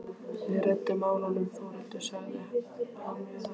Við reddum málunum Þórhildur, sagði hann við hana.